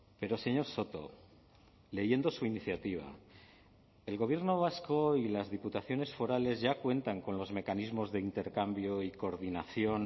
pero señor soto leyendo su iniciativa el gobierno vasco y las diputaciones forales ya cuentan con los mecanismos de intercambio y coordinación